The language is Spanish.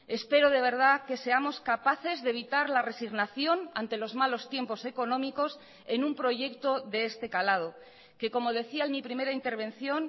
espero de verdad que seamos capaces de evitar la resignación ante los malos tiempos económicos en un proyecto de este calado que como decía en mi primera intervención